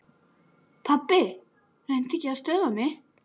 Pabbi reyndi ekki að stöðva mig.